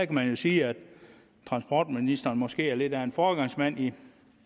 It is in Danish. kan jo sige at transportministeren måske er lidt af en foregangsmand i